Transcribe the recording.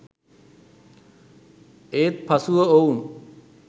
ඒත් පසුව ඔවුන්